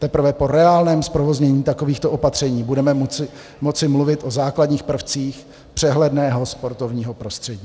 Teprve po reálném zprovoznění takovýchto opatření budeme moci mluvit o základních prvcích přehledného sportovního prostředí.